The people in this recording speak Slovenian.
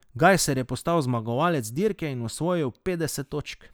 Gajser je postal zmagovalec dirke in osvojil petdeset točk.